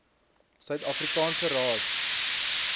suid afrikaanse raad